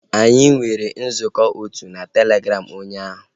Anyị nwere nzukọ otu na Telegram ụnyaahụ